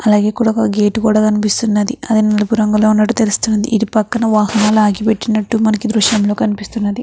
అలాగే ఇక్కడ ఒక్క గేట్ కూడ కనిపిస్తున్నది. అది తెలుపు రంగులో ఉన్నట్లు తెలుస్తుంది. ఇది పక్కన వాహనాలు ఆగిపెట్టినట్టు మనకి దృశ్యంలో కనిపిస్తున్నది.